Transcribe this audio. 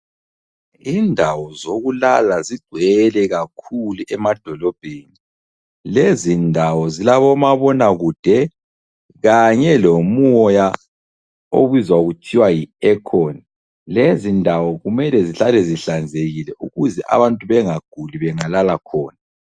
Indawo zokulala zigcwele kakhulu emadolobheni. Lezi ndawo zilabomabonakude kanye lomoya obizwa kuthiwa yi aircon, lezindawo kumele zihlale zihlanzekile ukuze abantu bengaguli bengalala khona.